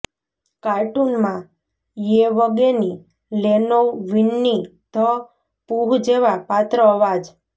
કાર્ટુનમાં Yevgeny Leonov Winnie the Pooh જેવા પાત્ર અવાજ